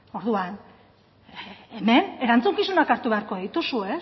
orduan hemen erantzukizunak hartu beharko dituzu ez